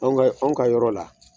Anw ka anw ka yɔrɔ la.